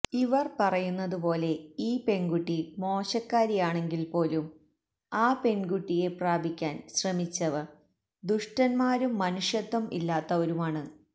ഇവർ പറയുന്നതു പോലെ ഈ പെൺകുട്ടിമോശക്കാരിയാണെങ്കിൽ പോലും ആ പെൺകുട്ടിയെ പ്രാപിക്കാൻ ശ്രമിച്ചവർ ദുഷ്ടന്മാരും മനുഷ്യത്വം ഇല്ലാത്തവരുമാണ്